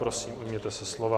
Prosím, ujměte se slova.